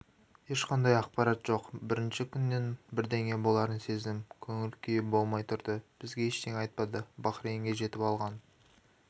ешқандай ақпарат жоқ бірінші күннен-ақ бірдеңе боларын сездім көңіл-күйіболмай тұрды бізге ештеңе айтпады бахрейнге жетіп алған